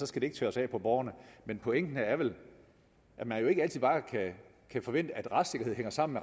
skal det ikke tørres af på borgerne men pointen er vel at man ikke altid bare kan forvente at retssikkerhed hænger sammen